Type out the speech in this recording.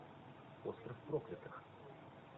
остров проклятых